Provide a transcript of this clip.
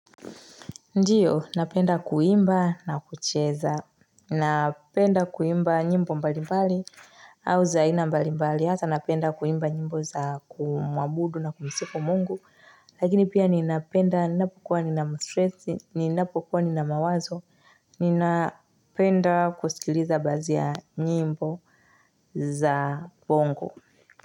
Ndiyo, napenda kuimba na kucheza. Napenda kuimba nyimbo mbalimbali au za aina mbalimbali. Hata napenda kuimba nyimbo za kumwabudu na kumsifu mungu. Lakini pia ninapenda, ninapokua nina mawazo, ninapenda kusikiliza baadhi ya nyimbo za bongo.